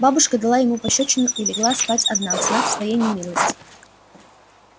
бабушка дала ему пощёчину и легла спать одна в знак своей немилости